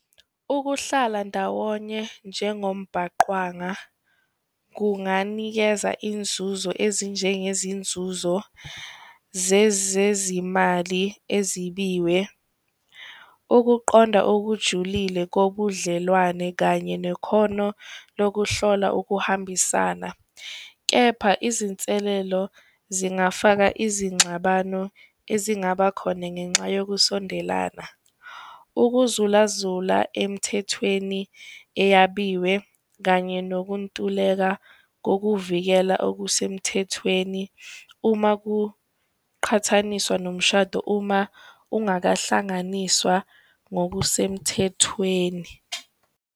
Ukuhlala ndawonye njengombhaqwanga kunganikeza inzuzo ezinjengezinzuzo zezezimali ezibiwe, ukuqonda okujulile kobudlelwane kanye nekhono lokuhlola ukuhambisana, kepha izinselelo zingafaka izinxabano ezingaba khona ngenxa yokusondelana. Ukuzulazula emthethweni eyabiwe kanye nokuntuleka ngokuvikela okusemthethweni uma kuqhathaniswa nomshado, uma ungakahlanganiswa ngokusemthethweni.